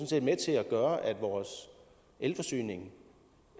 set med til at gøre at vores elforsyning